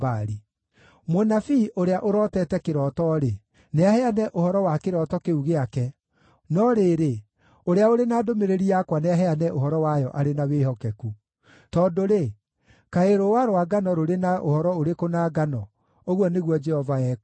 Mũnabii ũrĩa ũrotete kĩroto-rĩ, nĩaheane ũhoro wa kĩroto kĩu gĩake, no rĩrĩ, ũrĩa ũrĩ na ndũmĩrĩri yakwa nĩaheane ũhoro wayo arĩ na wĩhokeku. Tondũ-rĩ, kaĩ rũũwa rwa ngano rũrĩ na ũhoro ũrĩkũ na ngano?” ũguo nĩguo Jehova ekũũria.